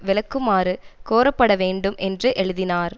விளக்குமாறு கோரப்பட வேண்டும் என்று எழுதினார்